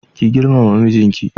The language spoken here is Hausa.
Ki girmama mijinki.